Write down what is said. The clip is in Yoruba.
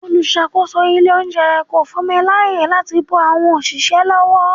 Olùsàkósò ilé oúnjẹ kò fún mi láàyè láti bun àwọn òṣìṣẹ́ lọ́wó.